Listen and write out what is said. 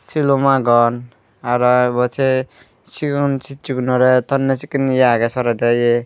silum agon aro ibot se sigon sichi gunore thonne sekken ye aage sorede ye.